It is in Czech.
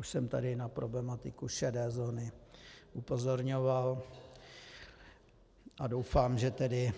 Už jsem tady na problematiku šedé zóny upozorňoval a doufám, že tedy